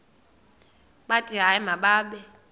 bathi hayi mababe